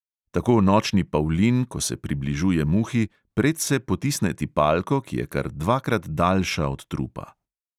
Tako nočni pavlin, ko se približuje muhi, predse potisne tipalko, ki je kar dvakrat daljša od trupa.